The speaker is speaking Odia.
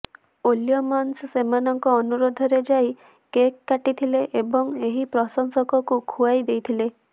ୱିଲିୟମ୍ସନ ସେମାନଙ୍କ ଅନୁରୋଧରେ ଯାଇ କେକ୍ କାଟିଥିଲେ ଏବଂ ଏହି ପ୍ରଶଂସକଙ୍କୁ ଖୁଆଇ ଦେଇଥିଲେ